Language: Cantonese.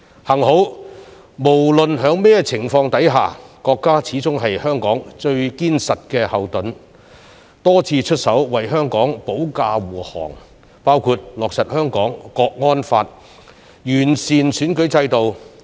幸好，無論在甚麼情況下，國家始終是香港最堅實的後盾，多次出手為香港保駕護航，包括落實《香港國安法》，完善選舉制度。